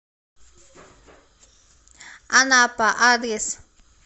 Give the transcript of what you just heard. анапа адрес